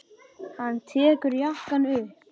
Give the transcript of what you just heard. Hann tekur jakkann upp.